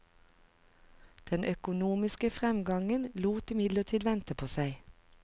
Den økonomiske framgangen lot imidlertid vente på seg.